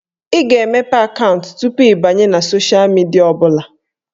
Ị ga-emepe akaụntụ tupu ị banye na sosha midia ọbụla